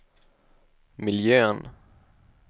miljön